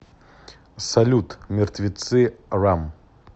салют мертвецы рам